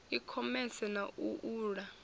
i khomese na u uula